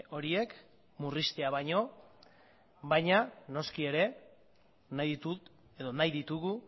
horiek murriztea baino baina noski ere nahi ditut edo nahi ditugu